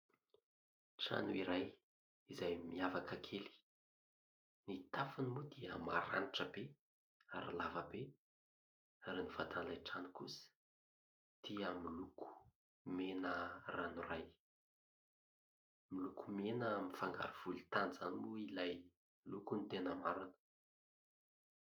Trano iray izay miavaka kely. Ny tafony moa dia maranitra be ary lava be ary ny vatan'ilay trano kosa dia miloko mena ranoray ; miloko mena mifangaro volontany izany moa ilay loko ny tena marina.